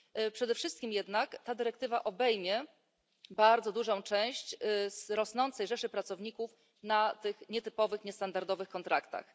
Przede wszystkim jednak ta dyrektywa obejmie bardzo dużą część z rosnącej rzeszy pracowników na tych nietypowych, niestandardowych kontraktach.